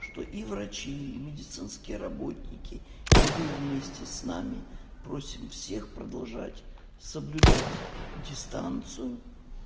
что и врачи и медицинские работники и вы вместе с нами просим всех продолжать соблюдать дистанцию